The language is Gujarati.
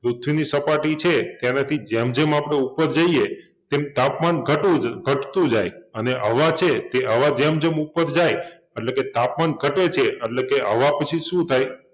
પૃથ્વીની સપાટી છે તેનાથી જેમ જેમ આપણે ઉપર જઈએ તેમ તાપમાન ઘટવુ જોઈ ઘટતુ જાય અને હવા છે તે હવા જેમ જેમ ઉપર જાય એટલે કે તાપમાન ઘટે છે એટલે કે હવા પછી શું થાય